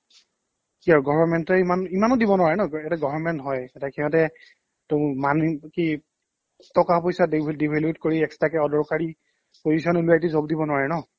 কি আৰু government য়ে ইমান ইমানো দিব নোৱাৰে ন এটা government হয় এটা সিহতে টো মান কি টকা পইচাৰ দে কৰি extra কে অদৰকাৰী পইচা নোলোৱাই কি job দিব নোৱাৰে